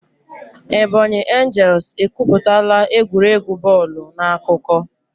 Ebonyi angels ekwuputala egwuregwu bọọlụ n'akụkọ.